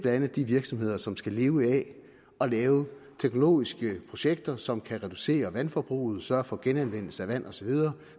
andet de virksomheder som skal leve af at lave teknologiske projekter som kan reducere vandforbruget sørge for genanvendelse af vand og så videre